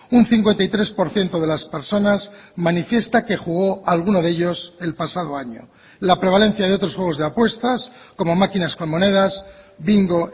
un cincuenta y tres por ciento de las personas manifiesta que jugó a alguno de ellos el pasado año la prevalencia de otros juegos de apuestas como máquinas con monedas bingo